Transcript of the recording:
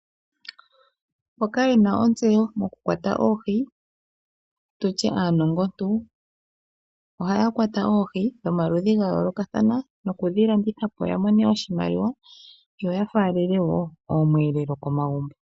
Mboka yena ontseyo moku kwata Oohi, tutye aanongontu ohaya kwata Oohi dhomaludhi ga yoolokathana. No kudhi landitha po ya mone oshimaliwa yo ya faalele woo oomweelelo komagumbo.